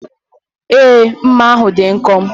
Èé, mma ahụ dị nkọ.